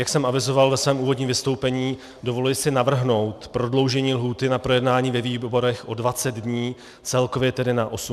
Jak jsem avizoval ve svém úvodním vystoupení, dovoluji si navrhnout prodloužení lhůty na projednání ve výborech o 20 dní, celkově tedy na 80 dní.